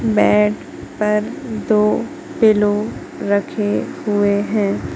Bed पर दो pillow रखे हुए हैं।